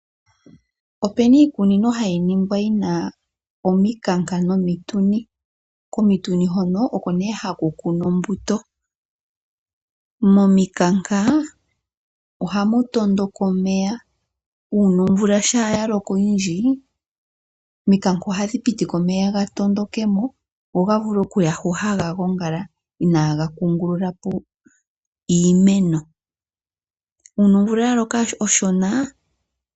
Ope na iikunino hayi ningwa yi na omikanka nomituni. Komituni hono oko nduno haku kunwa ombuto. Momikanka ohamu tondoka omeya. Uuna omvula ya tondoka oyindji, omikanka ohadhi pitika omeya ga tondoke mo go ga vule okuya hono haga gongala inaaga kungulula po iimeno.